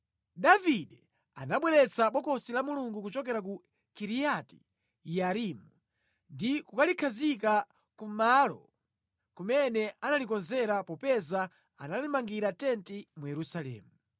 Davide anabweretsa Bokosi la Mulungu kuchokera ku Kiriyati Yearimu, ndi kulikhazika kumalo kumene analikonzera popeza analimangira tenti mu Yerusalemu.